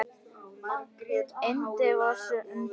Yndi vorsins undu.